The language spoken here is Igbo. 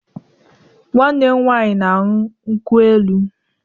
Nwanne m nwanyi na añyu nkwụ-elụ